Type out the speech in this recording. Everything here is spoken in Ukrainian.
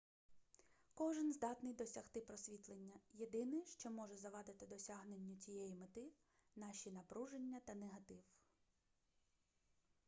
кожен здатний досягти просвітлення єдине що може завадити досягненню цієї мети наші напруження та негатив